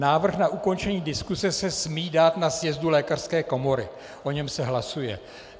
Návrh na ukončení diskuse se smí dát na sjezdu lékařské komory, o něm se hlasuje.